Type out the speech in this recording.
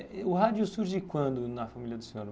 O rádio surge quando na família do senhor?